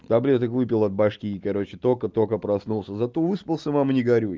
таблеток выпил от головы короче только только проснулся зато выспался мама не горюй